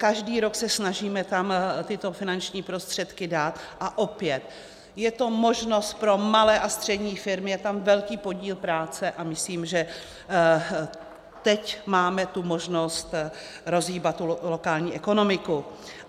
Každý rok se snažíme tam tyto finanční prostředky dát, a opět je to možnost pro malé a střední firmy, je tam velký podíl práce a myslím, že teď máme tu možnost rozhýbat lokální ekonomiku.